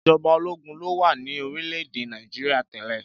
Ìjọba ológun lo wà ní orílẹ̀-èdè Nàìjíríà tẹ́lẹ̀.